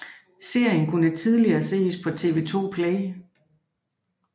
Serien kunne tidligere ses på TV 2 Play